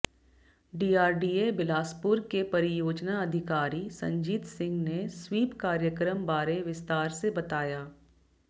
DRDA Bilaspur के परियोजना अधिकारी संजीत सिंह ने स्वीप कार्यक्रम बारे विस्तार से बताया